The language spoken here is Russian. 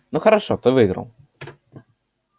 ну хорошо ты выиграл